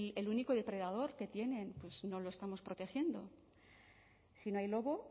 que el único depredador que tienen no lo estamos protegiendo si no hay lobo